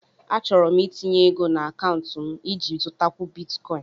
Achọrọ m itinye ego na akaụntụ m iji zụtakwu Bitikoin